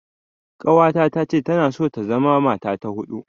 Ƙawata tace tana so ta zama matsa ta huɗu.